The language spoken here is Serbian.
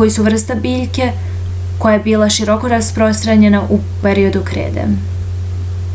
koji su vrsta biljke koja je bila široko rasprostranjena u periodu krede